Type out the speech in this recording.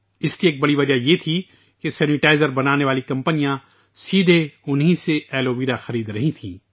اس کی ایک بڑی وجہ یہ تھی کہ سینیٹائزر بنانے والی کمپنیاں ان سے براہ راست ایلو ویرا خرید رہی تھیں